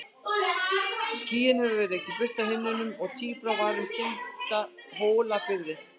Skýin hafði rekið burt af himninum og tíbrá var um tinda Hólabyrðu.